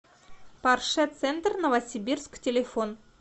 порше центр новосибирск телефон